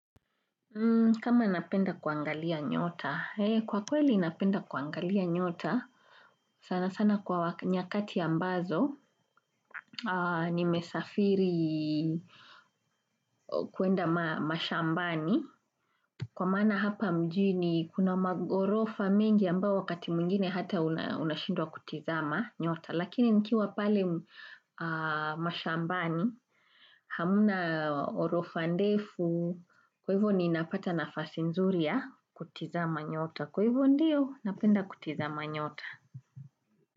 Kama napenda kuangalia nyota, kwa kweli napenda kuangalia nyota, sana sana kwa nyakati ambazo, nimesafiri kuenda mashambani, kwa maana hapa mjini kuna maghorofa mengi ambao wakati mwingine hata unashindwa kutizama nyota. Lakini nikiwa pale mashambani hamna ghorofa ndefu kwa hivyo ninapata nafasi nzuri ya kutizama nyota kwa hivyo ndiyo napenda kutizama nyota.